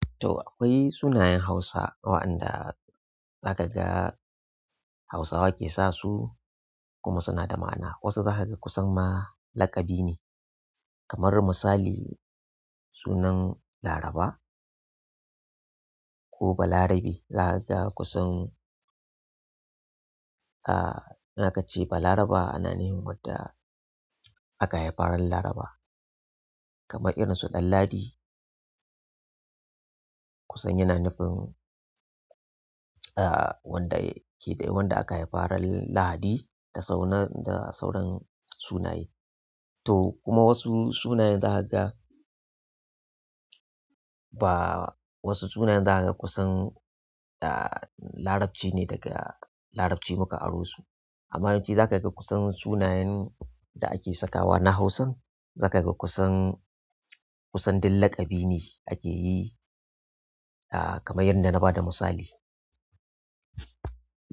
To akwai sunayen Hausa waɗanda za ka ga Hausawa ke sa su kuma suna da ma'ana. Wasu za ka ga kusan ma laƙabi ne kamar misali sunan Laraba ko Balarabe. Zakaga kusan in akace balaraba ana nufin wadda aka haifa ran Laraba kamar irin su Danladi. Kusan yana nufin, ah, wanda ke wanda aka haifa ran Lahadi da sauran, da sauran sunaye. To kuma wasu sunayen za ka ga ba wasu sunayen za ka ga kusan, ah, Larabci ne daga Larabci muka aro su. Amma yawanci za ka ga kusan sunayen da ake sakawa na Hausa. Zakaga kusan. Duk laƙabine akeyi kamar yadda na bada misali.